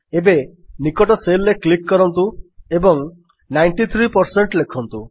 ଏବେ ନିକଟ Cellରେ କ୍ଲିକ୍ କରନ୍ତୁ ଏବଂ 93 ପରସେଣ୍ଟ ଲେଖନ୍ତୁ